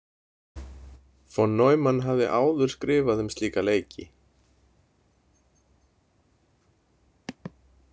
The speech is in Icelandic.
Von Neumann hafði áður skrifað um slíka leiki.